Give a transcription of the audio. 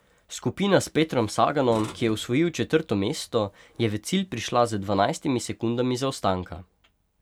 Skupina s Petrom Saganom, ki je osvojil četrto mesto, je v cilj prišla z dvanajstimi sekundami zaostanka.